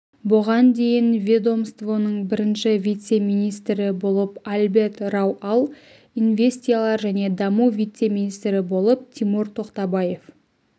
бұған дейін ведомствоның бірінші вице-министрі болып альберт рау ал инвестиялар және даму вице-министрі болып тимур тоқтабаев